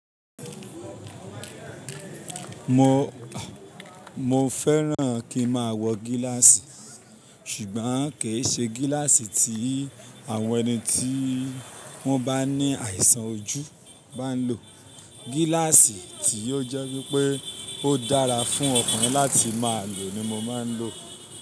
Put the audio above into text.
Mo, mo fẹ́ràn kí n máa wọ gíláàsì ṣùgbọ́n kì í ṣe gíláàsì tí àwọn ẹni tí wọ́n bá ní àìsàn ojú bá ń lò. Gíláàsì tí ó jẹ́ wípé ó dára fún ọkùnrin láti máa lò ni mo máa ń lò.